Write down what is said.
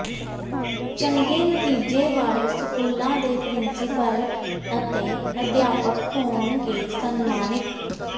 ਚੰਗੇ ਨਤੀਜੇ ਵਾਲੇ ਸਕੂਲਾਂ ਦੇ ਪ੍ਰਿੰਸੀਪਲ ਅਤੇ ਅਧਿਆਪਕ ਹੋਣਗੇ ਸਨਮਾਨਿਤ